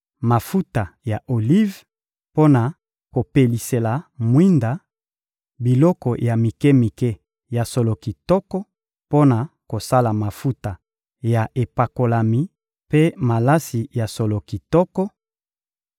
mafuta ya olive mpo na kopelisela mwinda, biloko ya mike-mike ya solo kitoko mpo na kosala mafuta ya epakolami mpe malasi ya solo kitoko;